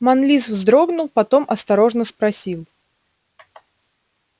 манлис вздрогнул потом осторожно спросил